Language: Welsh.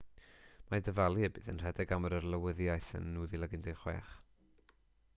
mae dyfalu y bydd e'n rhedeg am yr arlywyddiaeth yn 2016